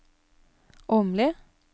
Åmli